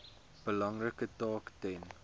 belangrike taak ten